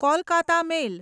Kolkata મેલ